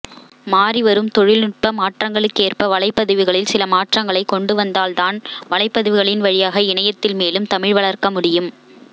மாறிவரும் தொழில்நுட்பமாற்றங்களுக்கேற்ப வலைப்பதிவுகளில் சில மாற்றங்களைக் கொண்டுவந்தால் வலைப்பதிவுகளின் வழியாக இணையத்தில் மேலும் தமிழ் வளர்க்கமுடியும்